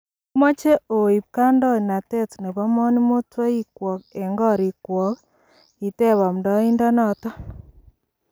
"Omoche oib kandonatet nebo moningotoikwok en korik kwoik? Kiteb amndoindonoton.